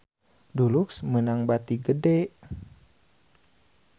Dulux meunang bati gede